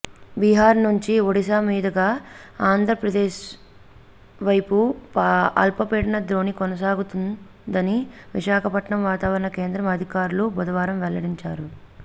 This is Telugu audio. బీహార్ నుంచి ఒడిషా మీదుగా ఆంధ్రప్రదేశ్వైపు అల్పపీడన ద్రోణి కొనసాగుతుం దని విశాఖపట్నం వాతావరణ కేంద్రం అధికారులు బుధవారం వెల్లడించారు